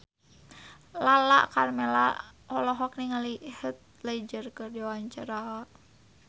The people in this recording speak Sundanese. Lala Karmela olohok ningali Heath Ledger keur diwawancara